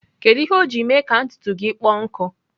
Kedu ihe o ji mee ka ntutu gị kpọọ nkụ?